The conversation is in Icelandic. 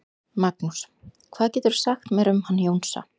Magnús: Hvað geturðu sagt mér um hann Jónsa?